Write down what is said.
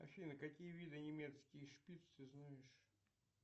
афина какие виды немецкий шпиц ты знаешь